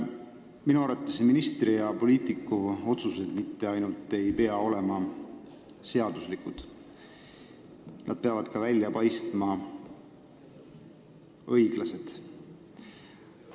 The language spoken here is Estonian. Minu arvates ministri ja poliitiku otsused mitte ainult ei pea olema seaduslikud, vaid nad peavad ka välja paistma õiglased.